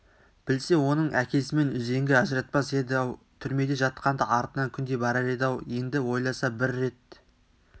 білсе оның әкесімен үзеңгі ажыратпас еді-ау түрмеде жатқанда артынан күнде барар еді-ау енді ойласа бір рет